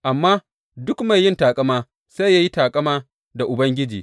Amma, Duk mai yin taƙama, sai ya yi taƙama da Ubangiji.